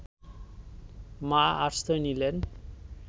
মা আশ্রয় নিলেন